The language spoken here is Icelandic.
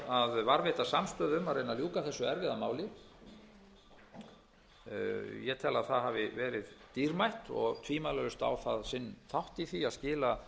að varðveita samstöðu um að reyna að ljúka þessu erfiða máli ég tel að það hafi verið dýrmætt og tvímælalaust á það sinn þátt í því að skila